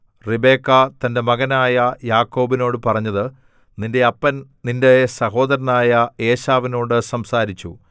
Rebecca തന്റെ മകനായ യാക്കോബിനോടു പറഞ്ഞത് നിന്റെ അപ്പൻ നിന്റെ സഹോദരനായ ഏശാവിനോടു സംസാരിച്ചു